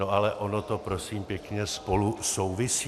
No ale ono to prosím pěkně spolu souvisí.